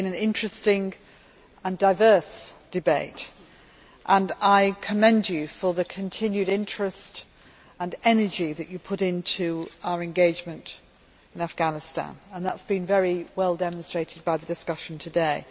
This has been an interesting and diverse debate, and I commend you for the continued interest and energy that you put into our engagement in Afghanistan. That has been very well demonstrated by the discussion today.